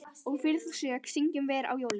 Og fyrir þá sök syngjum vér á jólum